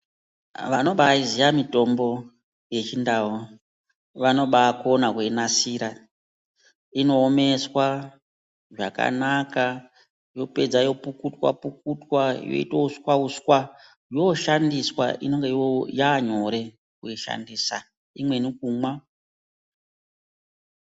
Vanobaiziya mitombo yechindau vanobakona kuinasira inoomeswa zvakanaka. Yopedza yopukutwa-pukutwa yoitwa uswa-uswa yoshandiswa inenge yanyore kuishandisa imweni kumwa.